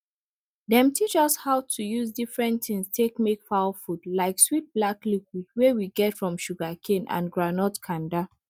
dem teach us how to use different things take make fowl food like sweet black liquid wey we get from sugarcane and groundnut kanda